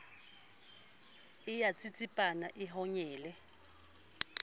e a tsitsipana e honyele